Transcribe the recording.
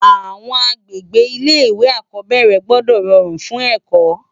Awòn ágbégbé Ilé iwé ákòbèrè gbòdò ròrún fún èkò